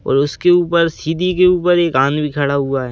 और उसके ऊपर सीधी के ऊपर एक आदमी खड़ा हुआ है।